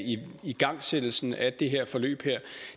igangsættelsen af det her forløb